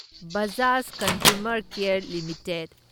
Bajaj consumer care limited